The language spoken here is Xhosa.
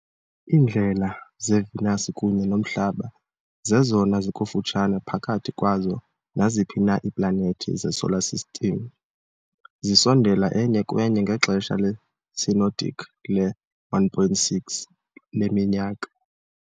Iindlela zeVenus kunye noMhlaba zezona zikufutshane phakathi kwazo naziphi na iiplanethi zeSolar System, zisondela enye kwenye ngexesha le-synodic le-1.6 leminyaka.